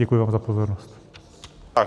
Děkuji vám za pozornost.